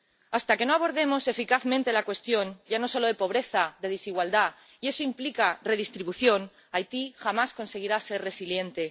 Hasta que no abordemos eficazmente la cuestión ya no solo de pobreza, sino de desigualdad ―y eso implica redistribución—, Haití jamás conseguirá ser resiliente.